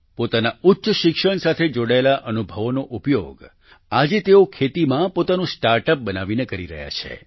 પોતાના ઉચ્ચ શિક્ષણ સાથે જોડાયેલા અનુભવોનો ઉપયોગ આજે તેઓ ખેતીમાં પોતાનું સ્ટાર્ટઅપ બનાવીને કરી રહ્યા છે